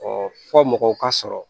fɔ mɔgɔw ka sɔrɔ